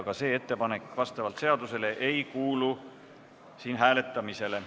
Ka see ettepanek vastavalt seadusele ei kuulu siin hääletamisele.